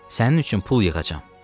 Sənin üçün pul yığacam.